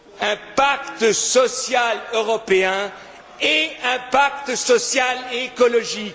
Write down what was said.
Un pacte social européen et un pacte social et écologique.